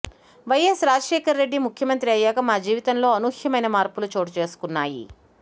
YS Rajasekhara Reddy ముఖ్యమంత్రి అయ్యాక మా జీవితంలో అనూహ్యమైన మార్పులు చోటు చేసుకున్నాయి